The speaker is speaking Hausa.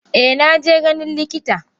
Eh naje ganin likita.